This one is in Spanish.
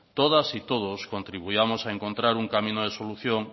todas y todos contribuyamos a encontrar un camino de solución